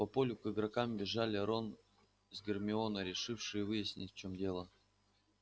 по полю к игрокам бежали рон с гермионой решившие выяснить в чём дело